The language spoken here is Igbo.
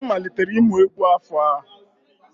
Anyị malitere ịmụ egwu n'afọ a.